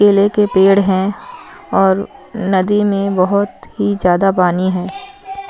केले के पेड़ है और नदी में बोहोत ही ज्यादा पानी है।